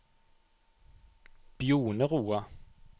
Bjoneroa